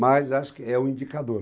Mas acho que é o indicador.